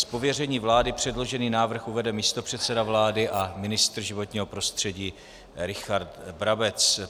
Z pověření vlády předložený návrh uvede místopředseda vlády a ministr životního prostředí Richard Brabec.